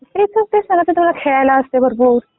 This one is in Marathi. ते सगळं तिथे तुला खेळायला असते भरपूर.